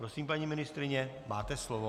Prosím, paní ministryně, máte slovo.